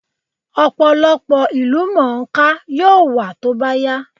Ọ̀pọ̀lọpọ̀ ìlúmọọká yóò wà tó bá yá